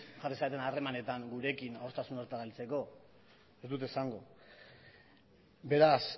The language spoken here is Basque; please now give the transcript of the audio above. jarri zareten harremanetan gurekin adostasun horretara heltzeko ez dut esango beraz